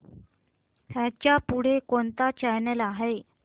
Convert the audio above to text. ह्याच्या पुढे कोणता चॅनल आहे